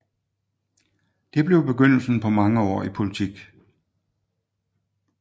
Det blev begyndelsen på mange år i politik